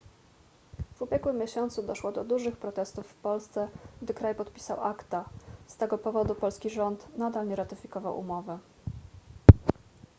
w ubiegłym miesiącu doszło do dużych protestów w polsce gdy kraj podpisał acta z tego powodu polski rząd nadal nie ratyfikował umowy